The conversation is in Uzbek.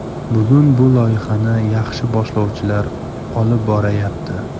Bugun bu loyihani yaxshi boshlovchilar olib borayapti.